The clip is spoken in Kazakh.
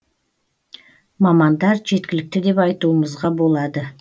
мамандар жеткілікті деп айтуымызға болады